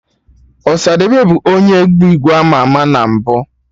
Ọsadebe bụ onye egwu igbo ama ama na mbụ